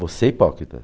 Você é hipócrita?